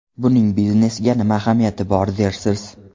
Buning biznesga nima ahamiyati bor dersiz?